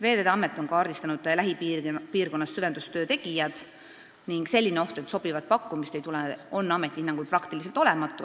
Veeteede Amet on kaardistanud lähipiirkonnas süvendustöö tegijad ning selline oht, et sobivat pakkumist ei tule, on ameti hinnangul peaaegu olematu.